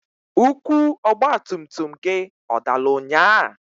Ukwu ọgbatumtum gị ọ dalụ nnyaa?